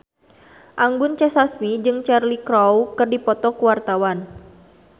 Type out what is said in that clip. Anggun C. Sasmi jeung Cheryl Crow keur dipoto ku wartawan